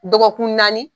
Dɔgɔkun naani